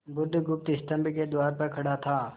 बुधगुप्त स्तंभ के द्वार पर खड़ा था